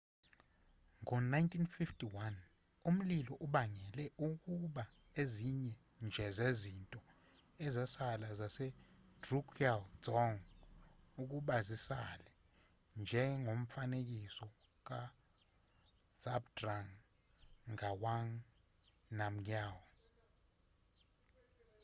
ngo-1951 umlilo ubangele ukuba ezinye nje zezinto ezasala zasedrukgyal dzong ukuba zisale njengomfanekiso kazhabdrung ngawang namgyal